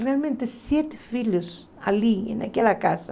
Realmente, sete filhos ali naquela casa.